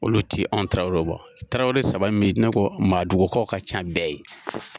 Olu ti anw tarawelew bɔ. Tarawele saba min be yen ,n'u ko maadugukaw ka ca bɛɛ ye.